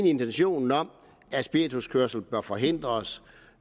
i intentionen om at spirituskørsel bør forhindres